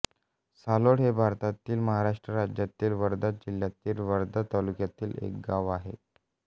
सालोड हे भारतातील महाराष्ट्र राज्यातील वर्धा जिल्ह्यातील वर्धा तालुक्यातील एक गाव आहे